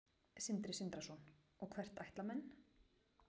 Sindri Sindrason: Og hvert ætla menn?